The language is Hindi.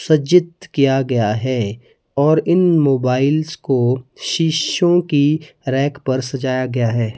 सज्जित किया गया है और इन मोबाइल्स को शीशों की रैक पर सजाया गया है।